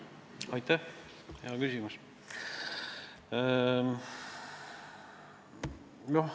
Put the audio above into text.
Aitäh, hea küsimus!